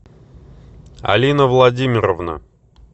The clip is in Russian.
алина владимировна